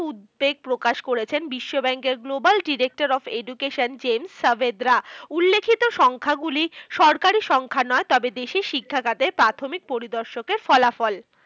উদ্বেগ প্রকাশ করেছেন বিশ্ব bank এর global director of education Jaime Saavedra. উল্লেখিত সংখ্যাগুলি সরকারি সংখ্যা নয়। তবে দেশের শিক্ষাখাতের প্রাথমিক পরিদর্শকের ফলাফল।